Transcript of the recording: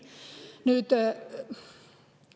Nüüd …